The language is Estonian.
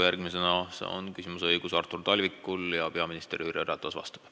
Järgmisena on küsimuse esitamise õigus Artur Talvikul, peaminister Jüri Ratas vastab.